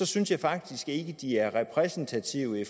synes jeg faktisk ikke de er repræsentative